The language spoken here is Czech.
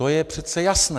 To je přece jasné.